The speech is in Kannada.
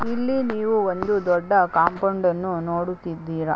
ಇಲ್ಲಿ ನೀವು ಒಂದು ದೊಡ್ಡ ಕಾಂಪೌಂಡನ್ನು ನೋಡುತ್ತಿದ್ದೀರ .